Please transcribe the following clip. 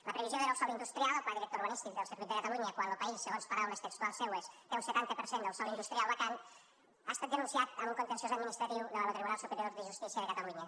la previsió de nou sòl industrial al pla director urbanístic del circuit de catalunya quan lo país segons paraules textuals seues té un setanta per cent del sòl industrial vacant ha estat denunciada en un contenciós administratiu davant lo tribunal superior de justícia de catalunya